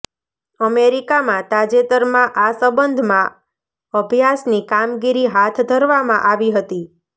અમેરિકામાં તાજેતરમાં આ સંબંધમાં અભ્યાસની કામગીરી હાથ ધરવામાં આવી હતી